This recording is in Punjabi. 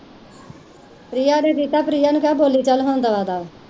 ਪ੍ਰਿਆ ਨੇ ਕੀਤਾ ਪ੍ਰਿਆ ਨੂੰ ਕੇਹ ਹੁਣ ਬੋਲੀ ਚਲ ਦਮਾ ਦਮ